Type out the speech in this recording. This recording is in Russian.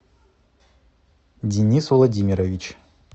денис владимирович